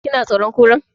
Ki na tsoron Kura?